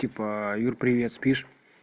типа юр привет спишь